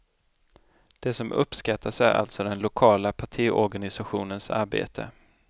Det som uppskattas är alltså den lokala partiorganisationens arbete.